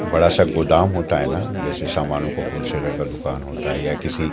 बड़ा सा गोदाम होता है ना जैसे सामानों का होलसेलर का दुकान होता है या किसी--